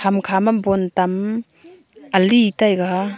ham kha bon tam ali taiga.